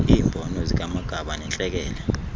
iimbono zikamagaba nentlekele